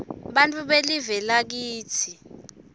bantfu belive lakitsi